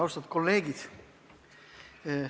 Austatud kolleegid!